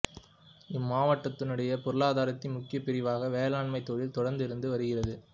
இம்மாவட்டத்தினுடைய பொருளாதாரத்தின் முக்கிய பிரிவாக வேளாண்மைத் தொழில் தொடர்ந்து இருந்து வருகிறது